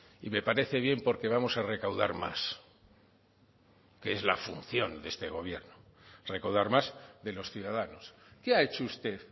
y me parece bien porque vamos a recaudar más que es la función de este gobierno recaudar más de los ciudadanos qué ha hecho usted